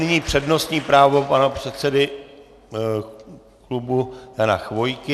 Nyní přednostní právo pana předsedy klubu, pana Chvojky.